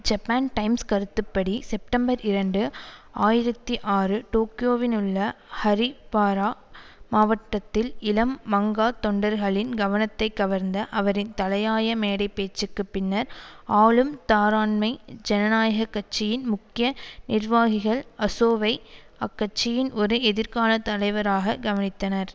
Japan Times கருத்துப்படி September இரண்டு ஆயிரத்தி ஆறு டோக்கியோவினுள்ள ஹரி பாரா மாவட்டத்தில் இளம் மங்கா தொண்டர்களின் கவனத்தை கவர்ந்த அவரின் தலையாய மேடை பேச்சுக்கு பின்னர் ஆளும் தாராண்மை ஜனநாயக கட்சியின் முக்கிய நிர்வாகிகள் அசோவை அக்கட்சியின் ஒரு எதிர்கால தலைவராக கவனித்தனர்